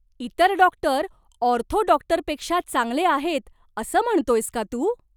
इतर doctor ortho डॉक्टरपेक्षा चांगले आहेत असं म्हणतोयस का तू?